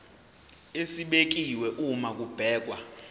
esibekiwe uma kubhekwa